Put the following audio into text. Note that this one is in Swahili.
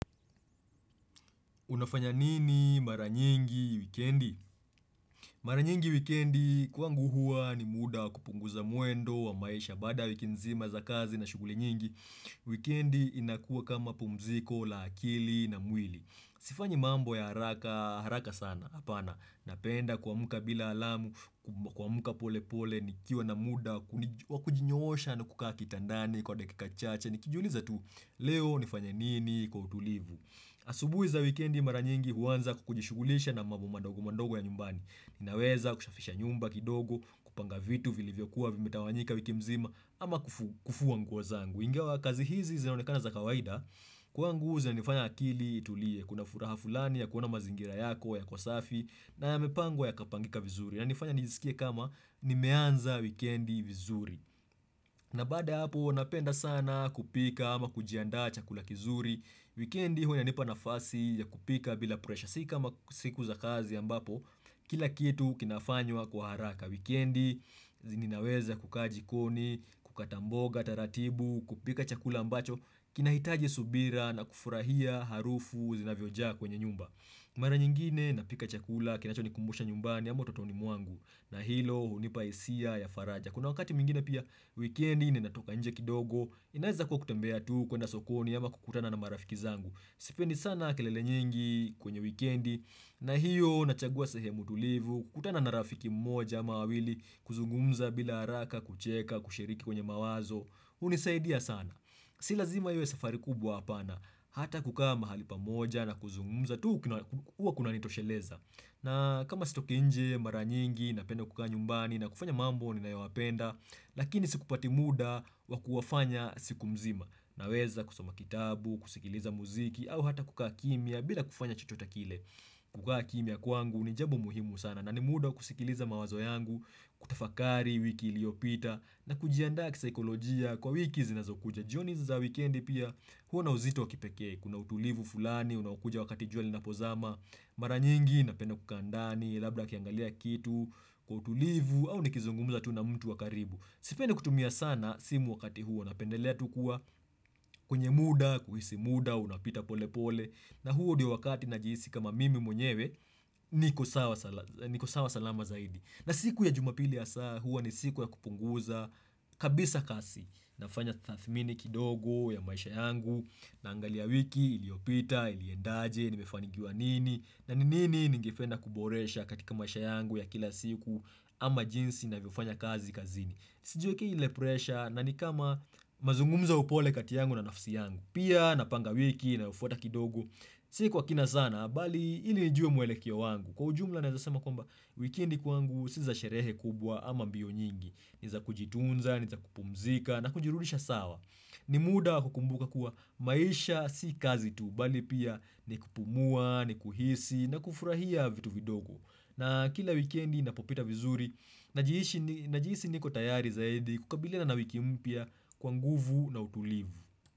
Unafanya nini mara nyingi wikendi? Mara nyingi wikendi kwangu huwa ni muda wa kupunguza mwendo wa maisha. Badaa ya wiki nzima za kazi na shughuli nyingi, wikendi inakuwa kama pumziko la akili na mwili. Sifanyi mambo ya haraka haraka sana, hapana. Napenda kuamka bila alamu, kuamka pole pole, nikiwa na muda wa kujinyoosha na kukaa kitandani kwa dakika chache. Nikijiuliza tu, leo nifanya nini kwa utulivu. Asubuhi za wikendi mara nyingi huanza kujishughulisha na mambo madogo madogo ya nyumbani. Ninaweza kusafisha nyumba kidogo kupanga vitu vilivyokuwa vimetawanyika wiki mzima ama kufua nguo zangu, ingawa kazi hizi zinaonekana za kawaida kwangu zinanifanya akili itulie kuna furaha fulani ya kuona mazingira yako, yako safi na yamepangwa yakapangika vizuri inanifanya nijisikie ni kama nimeanza wikendi vizuri na badaa hapo, napenda sana kupika ama kujiandaa chakula kizuri. Wikendi huwainanipa nafasi ya kupika bila presha. Si kama siku za kazi ambapo, kila kitu kinafanywa kwa haraka. Wikendi, ninaweza kukaa jikoni, kukata mboga taratibu, kupika chakula ambacho kinahitaji subira na kufurahia harufu zinavyojaa kwenye nyumba. Mara nyingine, napika chakula, kinachonikumbusha nyumbani, ama utotoni mwangu. Na hilo, hunipa hisia ya faraja. Kuna wakati mwingine pia weekendi ninatoka nje kidogo, inaweza kuwa kutembea tu, kuenda sokoni, ama kukutana na marafiki zangu. Sipendi sana kelele nyingi kwenye weekendi, na hiyo nachagua sehemu tulivu, kukutana na rafiki mmoja ama wawili, kuzungumza bila haraka, kucheka, kushiriki kwenye mawazo hunisaidia sana. Si lazima iwe safari kubwa hapana, hata kukaa mahali pamoja na kuzungumza tu huwa kunanitosheleza. Na kama sitoki nje mara nyingi na penda kukaa nyumbani na kufanya mambo ninayoyapenda Lakini sipati muda wa kuwafanya siku mzima naweza kusoma kitabu, kusikiliza muziki au hata kukaa kimya bila kufanya chochota kile kukaa kimya kwangu ni jambo muhimu sana na ni muda wa kusikiliza mawazo yangu, kutafakari wiki iliopita na kujianda kisaikolojia kwa wiki zinazokuja jioni za weekendi pia huwa na uzito wa kipekee kuna utulivu fulani, unaokuja wakati jua linapozama Mara nyingi napenda kukaa ndani labda nikiangalia kitu kwa utulivu au nikizungumuza tu na mtu wa karibu. Sipendi kutumia sana simu wakati huo, napendelea tu kuwa kwenye muda, kuhisi muda unapita pole pole na huo ndio wakati najihisi kama mimi mwenyewe niko sawa niko sawa salama zaidi na siku ya jumapili hasa huwa ni siku ya kupunguza kabisa kasi, nafanya tathmini kidogo ya maisha yangu Naangalia wiki, iliopita, iliendaje nimefanikiwa nini na ni nini ningependa kuboresha katika maisha yangu ya kila siku ama jinsi ninavyofanya kazi kazini. Sijiwekei ile presha na ni kama mazungumzo ya upole kati yangu na nafsi yangu pia napanga wiki inayofuata kidogo si kwa kina sana bali ili nijue mwelekeo wangu. Kwa ujumla naweza sema kwamba wikendi kwangu si za sherehe kubwa ama mbio nyingi ni za kujitunza, ni za kupumzika na kujirudisha sawa. Ni muda wa kukumbuka kuwa maisha si kazi tu, bali pia ni kupumua, ni kuhisi na kufurahia vitu vidogo na kila weekendi inapopita vizuri Najihisi niko tayari zaidi kukabiliana na wiki mpya kwa nguvu na utulivu.